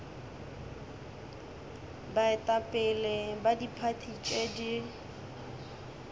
baetapele ba diphathi tše di